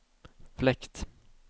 fläkt